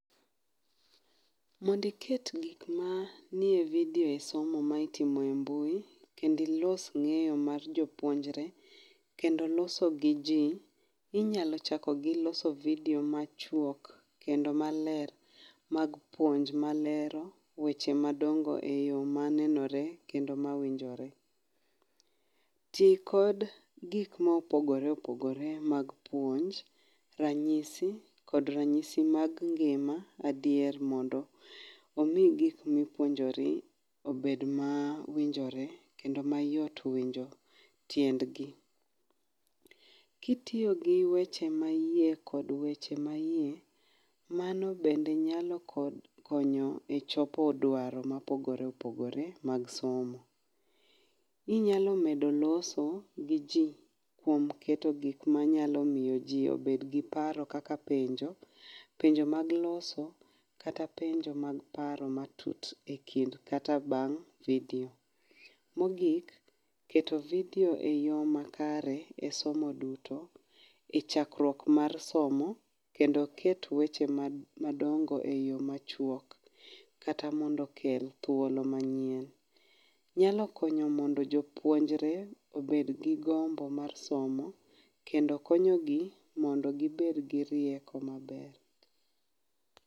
Mondo iket gik manie e video e somo ma itimo embui, kendo ilos ng#eyo mar jopuonjre kendo loso giji, inyalo chako gi loso video machuok kendo maler mag puonj malero weche madongo ma nenore kendo ma winjore. Ti kod gik mopogore opogore mag puonj ranyisi kod ranyisi mag ngima. Adier mondo omiyi gik ma ipuonjori obed ma winjore kendo ayot winjo tiendgi. Kitiyo gi weche ma iye kod weche maiye, mano bende nyalo konyo echopo dwaro mopogore opogore mag somo kendo loso gi ji kuom keto gik manyalo miyo ji obed gi paro kaka penjo, penjo mag loso kata penjo mag paro matut ekind kata bang' video. Mogik keto video eyo makare, e somo duto, chakruok mar somo kendo ket weche madongo eyo machuok kata mondo okel thuolo manyien nyalo konyo mondo jopuonjre obed gi gombo mar somo, kendo konyogi mondo gibed gi rieko maber